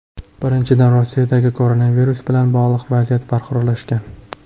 Birinchidan, Rossiyadagi koronavirus bilan bog‘liq vaziyat barqarorlashgan.